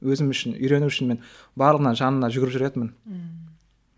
өзім үшін үйрену үшін мен барлығына жанына жүгіріп жүретінмін ммм